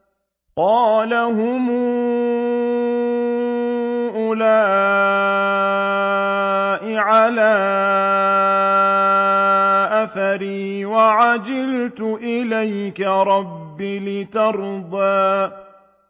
قَالَ هُمْ أُولَاءِ عَلَىٰ أَثَرِي وَعَجِلْتُ إِلَيْكَ رَبِّ لِتَرْضَىٰ